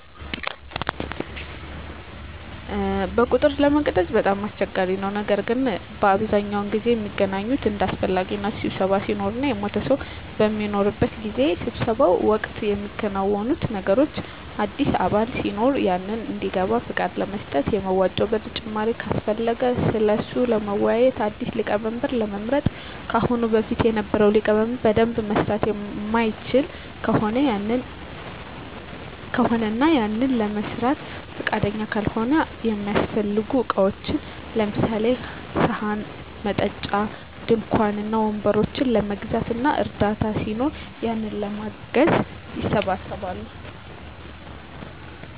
በቁጥር ለመግለፅ በጣም አስቸጋሪ ነው ነገር ግን በአብዛኛው ጊዜ ሚገናኙት እንደ አሰፈላጊነቱ ስብሰባ ሲኖር እና የሞተ ሰው በሚኖርበት ጊዜ። በስብሰባው ወቅት ሚከናወኑት ነገሮች አዲስ አባል ሲኖር ያንን እንዲገባ ፍቃድ ለመስጠት፣ የመዋጮ ብር ጭማሪ ካሰፈለገ ስለሱ ለመወያዬት፣ አዲስ ሊቀመንበር ለመምረጥ ከአሁን በፊት የነበረው ሊቀመንበር በደንብ መምራት ማይችል ከሆነ እና ያንን ለመስራት ፍቃደኛ ካልሆነ፣ እሚያሰፈልጉ እቃዎችን ለምሳሌ፦ ሰሀን፣ መጠጫ፣ ድንኳን እና ወንበሮችን ለመግዛት እና እርዳታ ሲኖር ያንን ለማገዝ ይሰባሰባሉ።